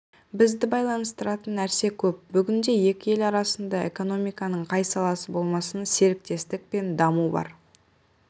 бізді байланыстыратын нәрсе көп бүгінде екі ел арасында экономиканың қай саласы болмасын серіктестік пен даму бар